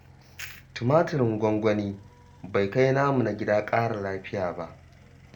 Tumaturin gwangwani bai kai namu na gida ƙara lafiya ba